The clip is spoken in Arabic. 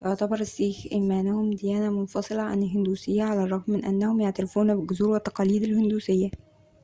يعتبر السيخ إيمانهم ديانة منفصلة عن الهندوسية على الرغم من أنهم يعترفون بالجذور والتقاليد الهندوسية